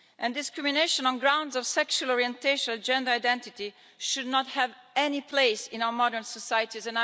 Discrimination on grounds of sexual orientation or gender identity should not have any place in our modern societies.